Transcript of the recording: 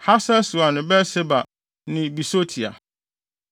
Hasar-Sual ne Beer-Seba ne Bisotia,